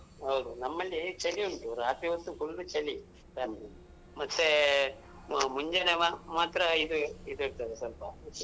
ಹೌದು. ನಮ್ಮಲ್ಲಿ ಚಳಿ ಉಂಟು ರಾತ್ರಿ ಹೊತ್ತು full ಚಳಿ ಮತ್ತೆ ವ ಮುಂಜಾನೆ ವ ಮಾತ್ರ ಇದು ಇದು ಇರ್ತದೇ ಸ್ವಲ್ಪ.